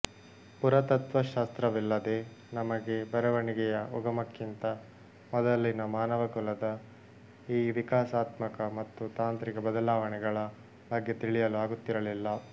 ಪುರಾತತ್ತ್ವ ಶಾಸ್ತ್ರವಿಲ್ಲದೆ ನಮಗೆ ಬರವಣಿಗೆಯ ಉಗಮಕ್ಕಿಂತ ಮೊದಲಿನ ಮಾನವಕುಲದ ಈ ವಿಕಾಸಾತ್ಮಕ ಮತ್ತು ತಾಂತ್ರಿಕ ಬದಲಾವಣೆಗಳ ಬಗ್ಗೆ ತಿಳಿಯಲು ಆಗುತ್ತಿರಲಿಲ್ಲ